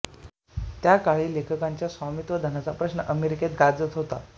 त्या काळी लेखकांच्या स्वामित्वधनाचा प्रश्न अमेरिकेत गाजत होता